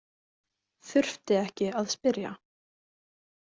Þurfti ekki að spyrja.